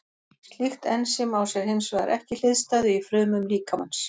Slíkt ensím á sér hins vegar ekki hliðstæðu í frumum líkamans.